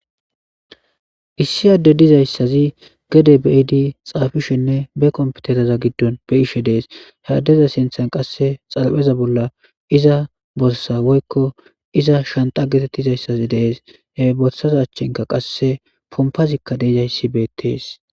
Issi adde dizayssazii geede bidii xapishenne be kompitereza giddon beyishe dees ha addeza sinththan qase xaraphpheza bolla iza borssa woykko iza shancha getettizayssi dees he borssaza achchankka qase pompazikka dizayssi beettes